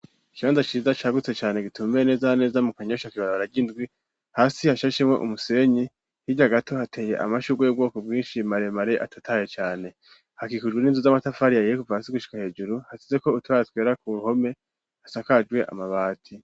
Ikibanza ciza cagutse cane gitumiye nezaneza mu kanyosha kibaro ryindwi hasi hashashemo umusenyi hirya gato hateye amashugo y'ubwoko bwinshi maremare atataye cyane hakikujwe n'inzu z'amatafari yahiye gushika hejuru hasize ko utwoya twera ku ruhome hasakajwe amabati.